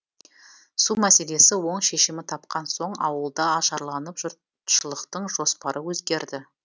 су мәселесі оң шешімін тапқан соң ауыл да ажарланып жұртшылықтың жоспары өзгерді